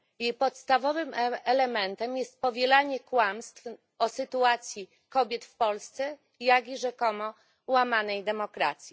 Jej podstawowym elementem jest powielanie kłamstw o sytuacji kobiet w Polsce, jak i o rzekomo łamanej demokracji.